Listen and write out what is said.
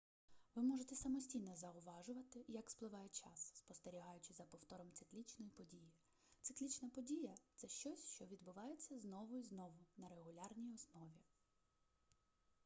ви можете самостійно зауважувати як спливає час спостерігаючи за повтором циклічної події циклічна подія це щось що відбувається знову і знову на регулярній основі